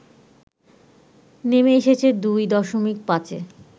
নেমে এসেছে দুই দশমিক পাঁচে